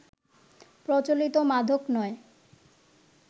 প্রচলিত মাদক নয়